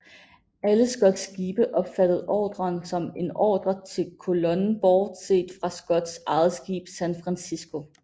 Alle Scotts skibe opfattede ordren som en ordre til kolonnen bortset fra Scotts eget skib San Francisco